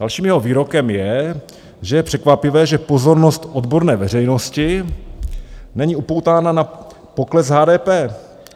Dalším jeho výrokem je, že je překvapivé, že pozornost odborné veřejnosti není upoutána na pokles HDP.